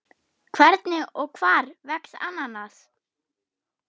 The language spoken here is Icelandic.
Hvernig og hvar vex ananas?